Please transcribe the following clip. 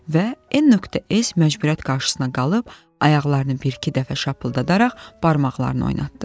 Və N.S. məcburiyyət qarşısında qalıb ayaqlarını bir-iki dəfə şapıldadaraq barmaqlarını oynatdı.